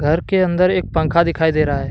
घर के अंदर एक पंखा दिखाई दे रहा है।